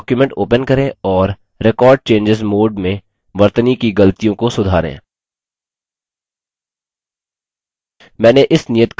एक document open करें और record changes मोड में वर्तनी की गलतियों को सुधारें